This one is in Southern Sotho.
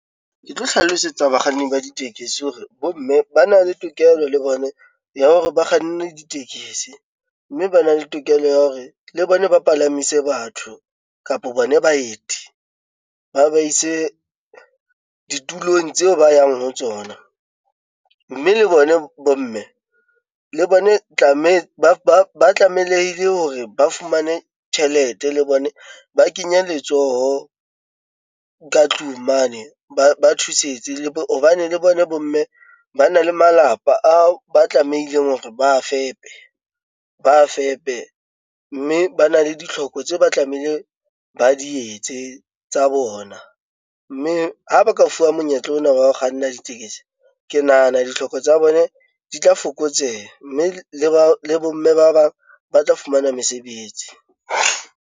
Ke tlo hlalosetsa bakganni ba ditekesi hore bomme ba na le tokelo le bone ya hore ba kganne ditekesi, mme ba na le tokelo ya hore le bona ba palamise batho kapo bona baeti. Ba ba ise ditulong tseo ba yang ho tsona, mme le bona bomme le bone ba tlamelehile hore ba fumane tjhelete, le bone ba kenye letsoho ka tlung mane ba thusetse, hobane le bona bomme ba na le malapa ao ba tlamehileng hore ba fepe, mme ba na le ditlhoko tse ba tlamehile ba di etse tsa bona, mme ha ba ka fuwa monyetla ona wa ho kganna ditekesi ke nahana ditlhoko tsa bone di tla fokotseha, mme le bomme ba bang ba tla fumana mesebetsi.